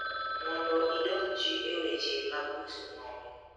Mondo idonji e weche mag uso mwandu